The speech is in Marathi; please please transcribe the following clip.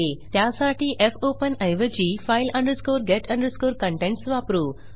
त्यासाठी फोपेन ऐवजी file get contents वापरू